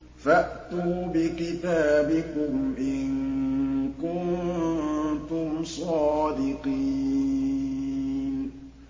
فَأْتُوا بِكِتَابِكُمْ إِن كُنتُمْ صَادِقِينَ